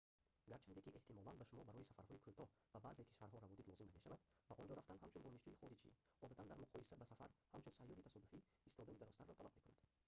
гарчанде ки эҳтимолан ба шумо барои сафарҳои кӯтоҳ ба баъзе кишварҳо раводид лозим намешавад ба онҷо рафтан ҳамчун донишҷӯи хориҷӣ одатан дар муқоиса ба сафар ҳамчун сайёҳи тасодуфӣ истодани дарозтарро талаб мекунад